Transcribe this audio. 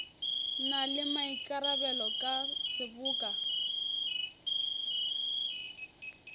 na le maikarabelo ka seboka